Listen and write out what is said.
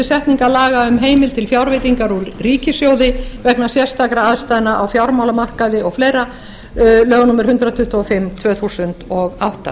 setningar laga um heimild til fjárveitingar úr ríkissjóði vegna sérstakra aðstæðna á fjármálamarkaði og fleira lög númer hundrað tuttugu og fimm tvö þúsund og átta